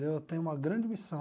Eu tenho uma grande missão.